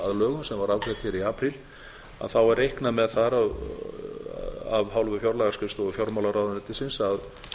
lögum sem var afgreitt hér í apríl að þá er reiknað með þar af hálfu fjárlagaskrifstofu fjármálaráðuneytisins að